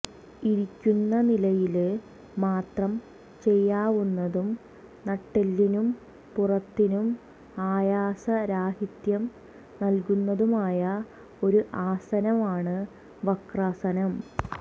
ഇരിക്കുന്ന നിലയില് മാത്രം ചെയ്യാവുന്നതും നട്ടെല്ലിനും പുറത്തിനും ആയാസരാഹിത്യം നല്കുന്നതുമായ ഒരു ആസനമാണ് വക്രാസനം